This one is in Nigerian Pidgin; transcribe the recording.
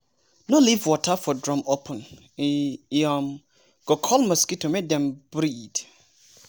no leave water for drum open e um go call mosquito make dem breed.